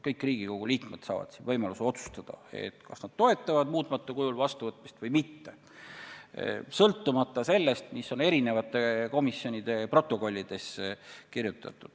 Kõik Riigikogu liikmed saavad võimaluse otsustada, kas nad toetavad seaduse muutmata kujul vastuvõtmist või mitte, sõltumata sellest, mis on kirjas komisjonide protokollides.